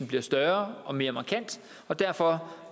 bliver større og mere markant derfor